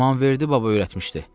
“İmamverdi Baba öyrətmişdi.